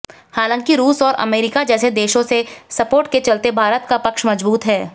हालांकि रूस और अमेरिका जैसे देशों से सपोर्ट के चलते भारत का पक्ष मजबूत है